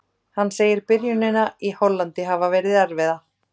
Hann segir byrjunina í Hollandi hafa verið erfiða.